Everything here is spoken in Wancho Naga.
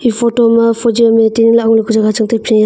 e photo ma fogi ham e tining lahngo lawka jaga changtai pia eya a.